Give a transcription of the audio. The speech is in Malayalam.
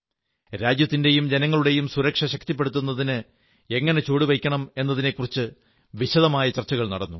രാജ്യത്തിന്റെയും ജനങ്ങളുടെയും സുരക്ഷ ശക്തിപ്പെടുത്തുന്നതിന് എങ്ങനെ ചുവടുവയ്ക്കണം എന്നതിനെക്കുറിച്ച് വിശദമായ ചർച്ചകൾ നടന്നു